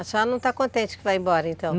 A senhora não está contente que vá embora, então?